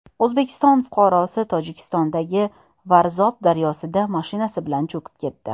O‘zbekiston fuqarosi Tojikistondagi Varzob daryosida mashinasi bilan cho‘kib ketdi.